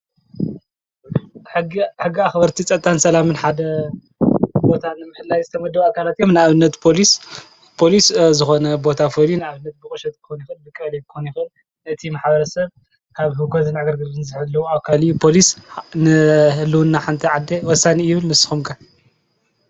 ሕጊ አክበርቲ ፀጥታን ሰላምን ሓደ ቦታ ንምሕላው ዝተመደቡ ኣካላት እዮም:: ንኣብነት "ፖሊስ " ፖሊስ ዝኾነ ቦታ ፈልዩ ኣብ ሕጉ ቁሸት ክኾን ይኽእል:: ብቀበሌ ክኾን ይኽእል ነቲ ማሕበረሰብ ካብ ህውከትን ዕግርግርን ዝሕሉ ኣካል እዩ ፖሊስ ንህልውና ሓንቲ ዓዲ ወሳኒ እዩ ይብል ንስኹም ከ?